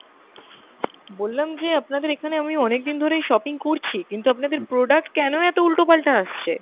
বললাম যে আপনাদের এখানে আমি অনেকদিন ধরেই shopping করছি, কিন্তু আপনাদের product কেন এত উল্টোপাল্টা আসছে?